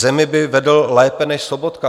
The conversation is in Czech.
Zemi by vedl lépe než Sobotka."